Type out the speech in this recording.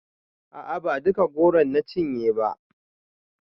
A'a ba duka goron na cinye ba